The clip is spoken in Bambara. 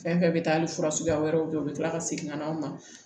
Fɛn fɛn bɛ taa hali fura suguya wɛrɛw kɛ u bɛ kila ka segin ka na aw ma